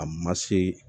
A ma se